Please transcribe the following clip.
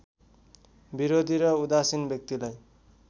विरोधी र उदासीन व्यक्तिलाई